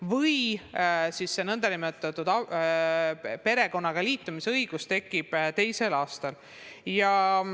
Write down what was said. tekib see nn perekonna liitumise õigus teisel aastal.